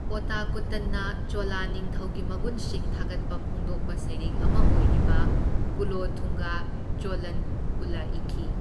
ꯑꯣꯇꯀꯨꯠꯇꯟꯅ ꯆꯣꯂ ꯅꯤꯡꯊꯧꯒꯤ ꯃꯒꯨꯟꯁꯤꯡ ꯊꯥꯒꯠꯄ ꯐꯣꯡꯗꯣꯛꯄ ꯁꯩꯔꯦꯡ ꯑꯃ ꯑꯣꯏꯔꯤꯕ ꯀꯨꯂꯣꯊꯨꯡꯒ ꯆꯣꯂꯟ ꯎꯂ ꯏꯈꯤ꯫